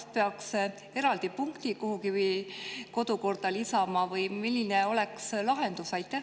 Kas peaks mingi eraldi punkti kuhugi kodukorda lisama või milline oleks lahendus?